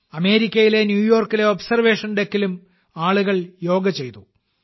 അമേരിക്കയിലെ ന്യൂയോർക്കിലെ ഒബ്സർവേഷൻ ഡെക്കിലും ആളുകൾ യോഗ ചെയ്തു